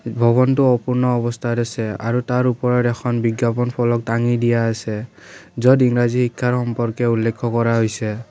ভৱনটো অপূৰ্ণ অৱস্থাত আছে আৰু তাৰ ওপৰত এখন বিজ্ঞাপন ফলক টাঙি দিয়া আছে য'ত ইংৰাজী শিক্ষাৰ সম্পৰ্কে উল্লেখ্য কৰা হৈছে।